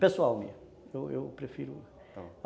Pessoal mesmo, eu eu prefiro